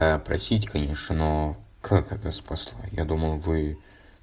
а простите конечно но как это спасло я думал вы